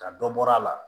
Ka dɔ bɔra a la